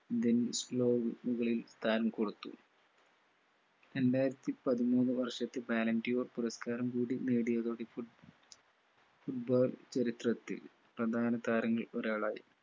താരം കൊടുത്തു രണ്ടായിരത്തി പതിമൂന്ന് വർഷത്തെ വാലന്റിയോ പുരസ്കാരം കൂടി നേടിയതോടെ foot ball ചരിത്രത്തിൽ പ്രധാന താരങ്ങളിൽ ഒരാളായി